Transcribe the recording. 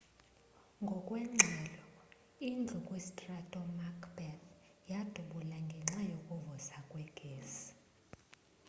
ngokweengxelo indlu kwistrato macbeth yadubula ngenxa yokuvuza kwegesi